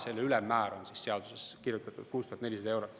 Selle ülemmäär on seadusesse kirjutatuna 6400 eurot.